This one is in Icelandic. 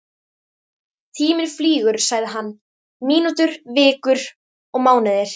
Tíminn flýgur sagði hann, mínútur, vikur og mánuðir.